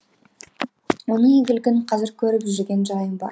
оның игілігін қазір көріп жүрген жайым бар